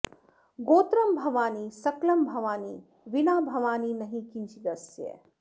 गोत्रं भवानी सकलं भवानी वीना भवानी नहि किञ्चिदस्य